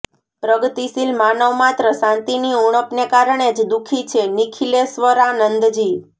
પ્રગતિશીલ માનવ માત્ર શાંતિની ઉણપને કારણે જ દુઃખી છે ઃ નિખિલેશ્વરાનંદજી